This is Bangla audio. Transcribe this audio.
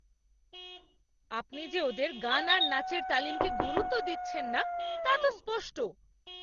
আপনি যে ওদের গান আর নাচের তালিমকে গুরুত্ব দিচ্ছেন না, তা তো স্পষ্ট!